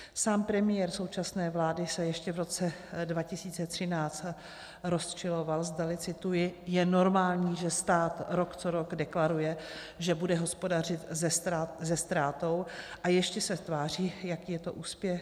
Sám premiér současné vlády se ještě v roce 2013 rozčiloval, zdali - cituji - je normální, že stát rok co rok deklaruje, že bude hospodařit se ztrátou, a ještě se tváří, jaký je to úspěch.